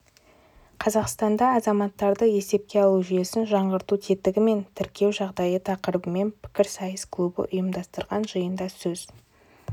қазақстанда азаматтарды есепке алу жүйесін жаңғырту тетігі мен тіркеу жағдайы тақырыбымен пікірсайыс клубы ұйымдастырған жиында сөз